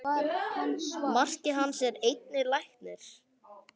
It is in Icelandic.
Maki hans er einnig læknir.